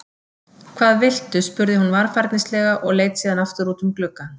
Hvað viltu? spurði hún varfærnislega og leit síðan aftur út um gluggann.